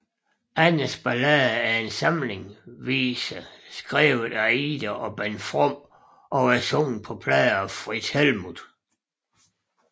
Annas Ballader er en samling viser skrevet af Ida og Bent From og sunget på plade af Frits Helmuth